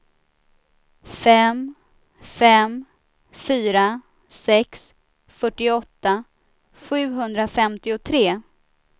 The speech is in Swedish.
fem fem fyra sex fyrtioåtta sjuhundrafemtiotre